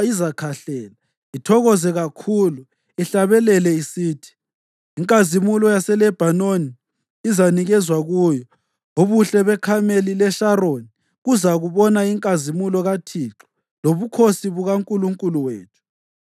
izakhahlela, ithokoze kakhulu, ihlabele isithi. Inkazimulo yaseLebhanoni izanikezwa kuyo ubuhle beKhameli leSharoni, kuzabona inkazimulo kaThixo lobukhosi bukaNkulunkulu wethu.